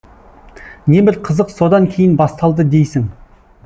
небір қызық содан кейін басталды дейсің